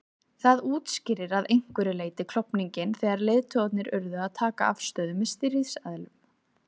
Það útskýrir að einhverju leyti klofninginn þegar leiðtogarnir urðu að taka afstöðu með stríðsaðilum.